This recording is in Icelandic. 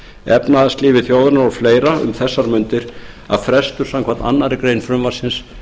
efnahagslífi þjóðarinnar og fleira um þessar mundir að frestur samkvæmt annarri grein frumvarpsins